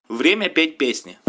время петь песни